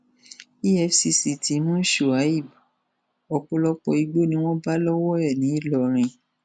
efcc ti mú shuaib ọpọlọpọ igbó ni wọn bá lọwọ ẹ nìlọrin